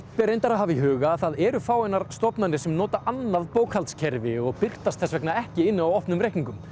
ber reyndar að hafa í huga að það eru fáeinar stofnanir sem nota annað bókhaldskerfi og birtast þess vegna ekki inni á opnum reikningum